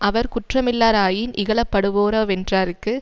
அவர் குற்றமில்லா ராயின் இகழப்படுவரோவென்றார்க்கு